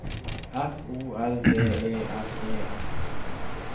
F O R D E L E N